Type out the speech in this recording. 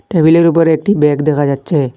টেবিলের উপর একটি ব্যাগ দেখা যাচ্ছে।